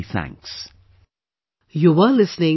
Many many thanks